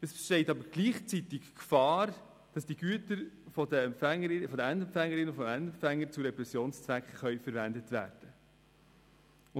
Gleichzeitig aber besteht die Gefahr, dass diese Güter von den Endempfängerinnen und Endempfängern zu Repressionszwecken verwendet werden können.